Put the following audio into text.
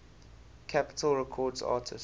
capitol records artists